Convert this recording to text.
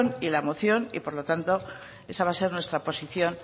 y la moción por lo tanto esa va a ser nuestra posición